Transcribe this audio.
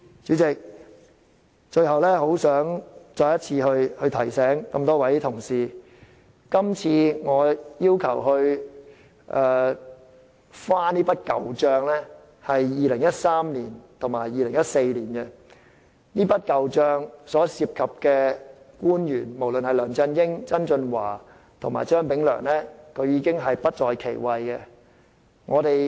主席，最後，我很想再次提醒各位同事，今次我要求翻這筆舊帳是2013年和2014年的事，所涉及的官員，包括梁振英、曾俊華和張炳良，均已不在其位。